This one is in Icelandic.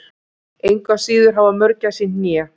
engu að síður hafa mörgæsir hné